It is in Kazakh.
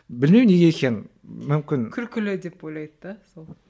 білмеймін неге екенін мүмкін күлкілі деп ойлайды да сол